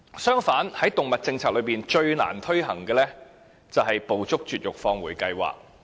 相反地，在動物政策中最難推行的是"捕捉、絕育、放回"計劃。